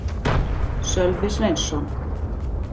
Sölvi Sveinsson.